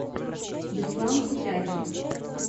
беслан сутягин